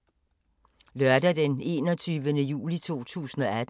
Lørdag d. 21. juli 2018